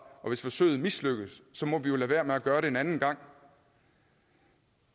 og hvis forsøget mislykkes må vi jo lade være med at gøre det en anden gang